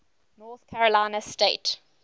north carolina state